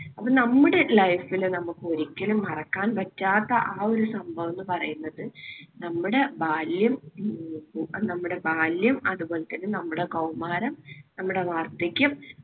അപ്പോൾ നമ്മുടെ life ല് നമുക്ക് ഒരിക്കലും മറക്കാൻ പറ്റാത്ത ആ ഒരു സംഭവം എന്ന് പറയുന്നത് നമ്മുടെ ബാല്യം നമ്മുടെ ബാല്യം അതുപോലെതന്നെ നമ്മുടെ കൗമാരം നമ്മുടെ വാർദ്ധക്യം